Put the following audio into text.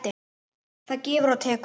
Það gefur og tekur.